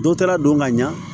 Dɔ taara don ka ɲa